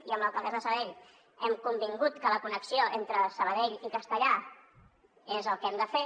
i amb l’alcaldessa de sabadell i hem convingut que la connexió entre sabadell i castellar és el que hem de fer